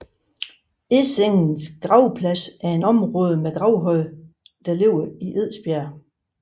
Edsängens gravplads er et område med gravhøje beliggende i Edsberg